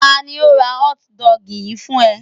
Ta ni ó ra hotdog yìí fún ẹ?